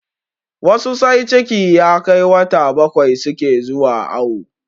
Wasu sai ciki ya kai wata bakwai suke zuwa awo